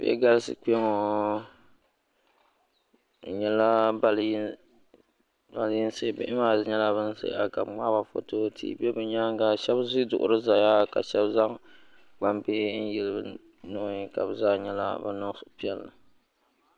Bihi galisi kpeŋɔ bɛ nyɛla baliyinsi bihi maa nyɛla ban zaya ka bɛ ŋmaaba foto tihi be bɛ nyaanga sheba ʒi duɣuri zaya ka sheba zaŋ gbambihi yili bɛ nuhi ka bɛ zaa nyɛla ban niŋ suhupiɛlli.